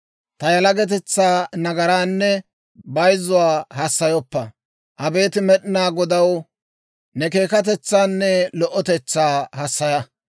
Ta yalagatetsaa nagaraanne bayzzuwaa hassayoppa. Abeet Med'inaa Godaw, ne keekatetsaanne lo"otetsaa hassaya.